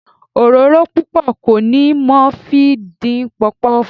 Òróró púpọ̀ kọ́ ni mo fi dín Pọpọ́ọ̀fù.